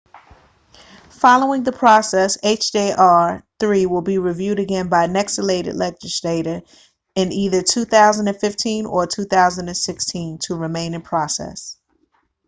following the process hjr-3 will be reviewed again by the next elected legislature in either 2015 or 2016 to remain in process